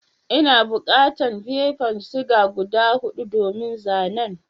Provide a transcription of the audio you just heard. N'na bukatan fefan siga guda hudu domin zanen.